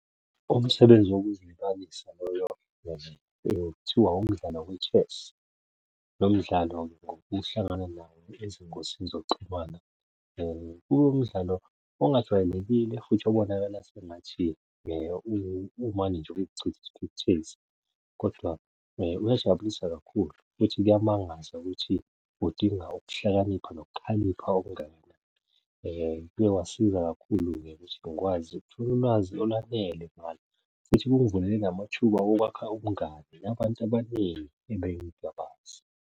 Umsebenzi wokuzilibalisa loyo kuthiwa umdlalo we-chess. Lo mdlalo ngokuhlangana nawo ezingosini zokuxhumana kube umdlalo ongajwayelekile futhi obonakala sengathi umane nje wokuchitha isithukuthezi kodwa uyajabulisa kakhulu futhi kuyamangaza ukuthi udinga ukuhlakanipha nokukhalipha okungaka. Uye wasiza kakhulu-ke ukuthi ngikwazi ukuthola ulwazi olwanele ngalo futhi kungivulele namathuba okwakha ubungani nabantu abaningi ebengingabazi.